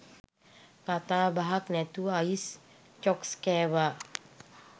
කතා බහක් නැතුව අයිස් චොක්ස් කෑවා.